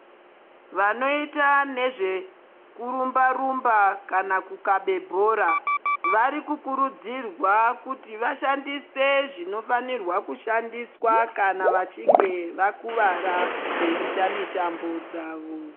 Vanoita nezvekurumba rumba kana kukabe bhora vari kukurudzirwa kuti vashandise zvinofanirwa kushandiswa kana vachinge vakuvara veiita mitambo dzawo.